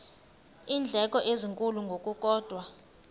iindleko ezinkulu ngokukodwa